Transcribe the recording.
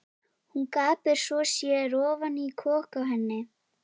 Hún gapir svo að sér ofan í kok á henni.